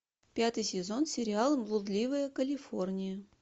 пятый сезон сериал блудливая калифорния